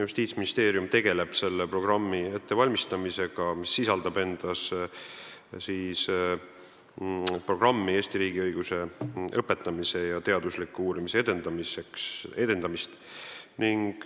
Justiitsministeerium valmistab ette programmi, mis sisaldab endas Eesti riigiõiguse õpetamist ja teadusliku uurimise edendamist.